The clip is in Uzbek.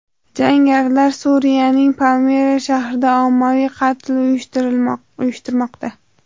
Jangarilar Suriyaning Palmira shahrida ommaviy qatl uyushtirmoqda.